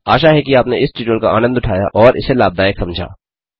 आशा है कि आपने इस ट्यूटोरियल का आनंद उठाया और इसे लाभदायक समझा